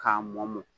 K'a mɔ mɔ